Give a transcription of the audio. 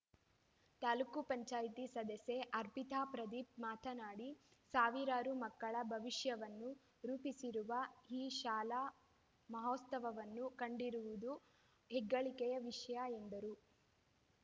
ತಾಲೂಕ್ ಪಂಚಾಯತಿ ಸದಸ್ಯೆ ಅರ್ಪಿತಾ ಪ್ರದೀಪ್‌ ಮಾತನಾಡಿ ಸಾವಿರಾರು ಮಕ್ಕಳ ಭವಿಷ್ಯವನ್ನು ರೂಪಿಸಿರುವ ಈ ಶಾಲೆ ಮಾನೋತ್ಸವವನ್ನು ಕಂಡಿರುವುದು ಹೆಗ್ಗಳಿಕೆಯ ವಿಷಯ ಎಂದರು